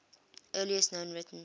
earliest known written